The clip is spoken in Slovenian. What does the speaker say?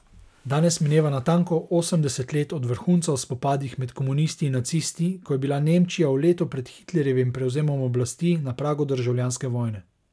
Danes mineva natanko osemdeset let od vrhunca v spopadih med komunisti in nacisti, ko je bila Nemčija v letu pred Hitlerjevim prevzemom oblasti na pragu državljanske vojne.